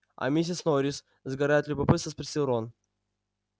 а миссис норрис сгорая от любопытства спросил рон